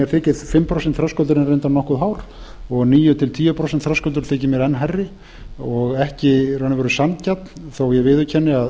þykir fimm prósent þröskuldurinn reyndar nokkuð hár og níu til tíu prósent þröskuldur þykir mér enn hærri og ekki í raun og veru sanngjarn þó að